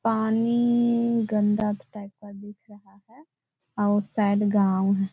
पानी गंदा टाइप का दिख रहा हैं और उ साइड गाँव हैं।